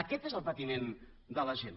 aquest és el patiment de la gent